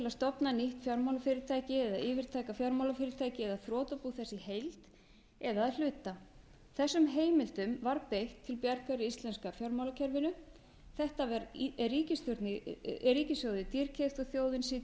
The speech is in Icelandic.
stofna nýtt fjármálafyrirtæki eða yfirtaka fjármálafyrirtæki eða þrotabú þess í heild eða að hluta þessum heimildum var beitt til bjargar íslenska fjármálakerfinu þetta var ríkissjóði dýrkeypt og þjóðin situr uppi með